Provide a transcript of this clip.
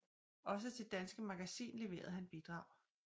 Også til Danske Magazin leverede han bidrag